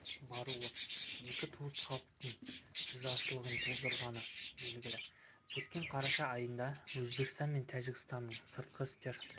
баруы екі туыс халықтың ризашылығын тудырғаны белгілі өткен қараша айында өзбекстан мен тәжікстанның сыртқы істер